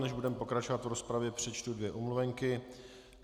Než budeme pokračovat v rozpravě, přečtu dvě omluvenky.